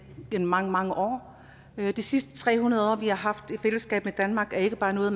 i mange mange år de sidste tre hundrede år vi har haft i fællesskab med danmark er ikke bare noget